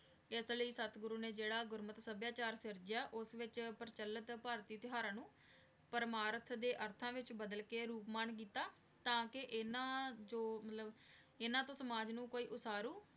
ਅਸੀਂ ਲੈ ਸਤ ਗੁਰੂ ਨੇ ਜੇਰਾ ਗੁਰੁਮਤ ਸਭ੍ਯਾਚਾਰ ਓਸ ਵਿਚ ਪਰਚਲਤ ਭਾਰਤੀ ਤੇਉਹਾਰਾਂ ਨੂ ਪਰ੍ਮਾਰਤ ਦੇ ਅਰਥਾਂ ਵਿਚ ਬਦਲ ਕੇ ਰੂਪ ਮਨ ਕੀਤਾ ਟਾਕੀ ਇਨਾਂ ਜੋ ਮਤਲਬ ਇਨਾਂ ਸਮਾਜ ਨੂ ਕੋਈ ਉਤਾਰੂ